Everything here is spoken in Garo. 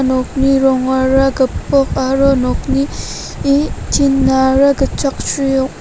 nokni rongara gipok aro nokni eh tin-ara gitchaksri ong·a.